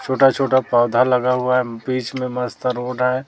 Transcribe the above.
छोटा-छोटा पौधा लगा हुआ है बीच में मस्त रोड है।